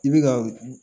I bɛ ka